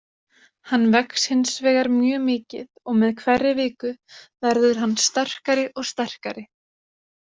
Hann vex hinsvegar mjög mikið og með hverri viku verður hann sterkari og sterkari.